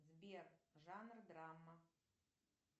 сбер жанр драма